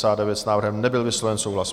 S návrhem nebyl vysloven souhlas.